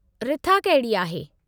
रिथा कहिड़ी आहे?